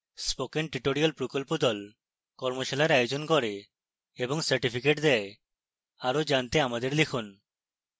spoken tutorial প্রকল্প the কর্মশালার আয়োজন করে এবং certificates দেয় আরো জানতে আমাদের লিখুন